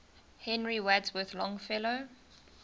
henry wadsworth longfellow